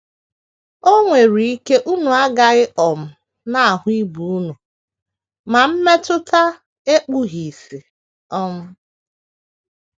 O nwere ike unu agaghị um na - ahụ ibe unu, ma mmetụta ekpughị ìsì. um ”